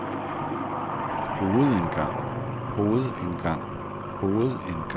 hovedindgang hovedindgang hovedindgang